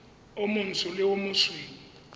o montsho le o mosweu